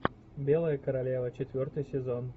белая королева четвертый сезон